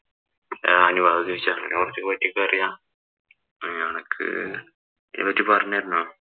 ഞാനും അങ്ങനെ കൊറച്ച് പഠിച്ചപ്പം അറിയാം. അനക്ക് അതിനെ പറ്റി പറഞ്ഞു തരണോ.